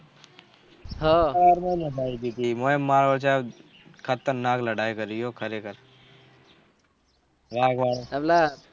હા એનો જ મારો ખતરનાક લડાઈ કરી ખરે ખર